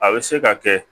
A bɛ se ka kɛ